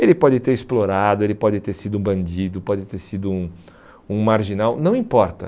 Ele pode ter explorado, ele pode ter sido um bandido, pode ter sido um um marginal, não importa.